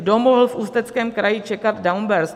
Kdo mohl v Ústeckém kraji čekat downburst?